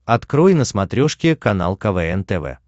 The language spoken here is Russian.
открой на смотрешке канал квн тв